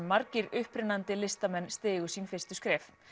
margir upprennandi listamenn stigu sín fyrstu skref